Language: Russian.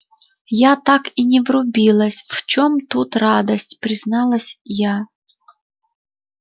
я так и не врубилась в чем тут радость призналась я